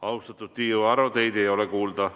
Austatud Tiiu Aro, teid ei ole kuulda.